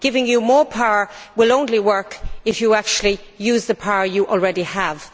Giving you more power will only work if you actually use the power you already have.